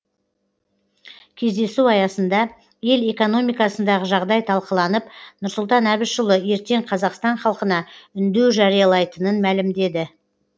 кездесу аясында ел экономикасындағы жағдай талқыланып нұрсұлтан әбішұлы ертең қазақстан халқына үндеу жариялайтынын мәлімдеді